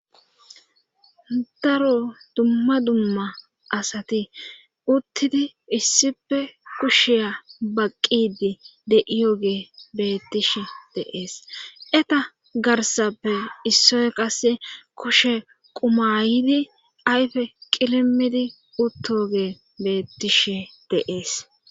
Daro dumma dumma asati uttidi issife kushiya baqqidi deiyo gebeettish deees eta garsappe issoy kase kushe qumayidi ayfe qilimidi uttoge beettish deees.